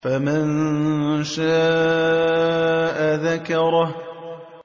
فَمَن شَاءَ ذَكَرَهُ